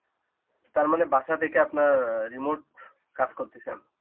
তার মানে বাসা থেকে আপনার remote কাজ করতেছেন.